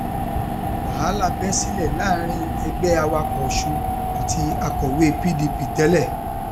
wàhálà bẹ sílẹ láàrin ẹgbẹ awakọ ọsun àti akọwé pdp tẹlẹ